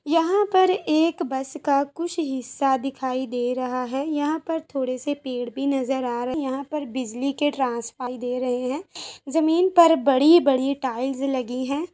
यहाँ पर एक बस का कुछ हिस्सा दिखाइ दे रहा है यहाँ पर थोड़े से पेड़ भी नज़र आ रहे है | यहाँ पर बिजली के ट्रांसफार्म दे रहे है जमीन पर बड़ी बड़ी टाइल्स लगी है।